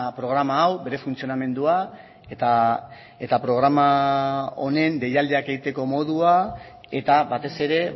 programa hau bere funtzionamendua eta programa honen deialdiak egiteko modua eta batez ere